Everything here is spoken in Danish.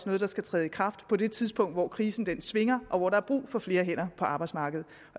noget der skal træde i kraft på det tidspunkt hvor krisen svinger og hvor der er brug for flere hænder på arbejdsmarkedet